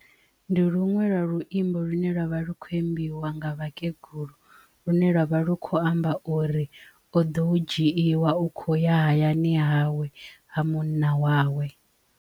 Ndi luṅwe lwa luimbo lune lwavha lu kho imbiwa nga vhakegulu lune lwavha lu khou amba uri o ḓo u dzhiiwa u kho ya hayani hawe ha munna wawe.